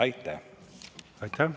Aitäh!